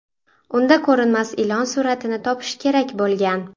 Unda ko‘rinmas ilon suratini topish kerak bo‘lgan.